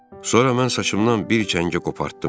Sonra mən saçımdan bir kəngə qopartdım.